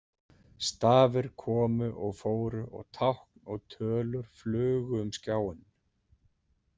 Stafir komu og fóru og tákn og tölur flugu um skjáinn.